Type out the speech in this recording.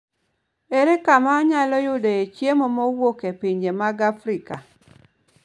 Ere kama anyalo yudoe chiemo mowuok e pinje mag Afrika?